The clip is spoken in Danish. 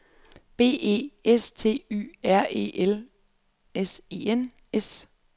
B E S T Y R E L S E N S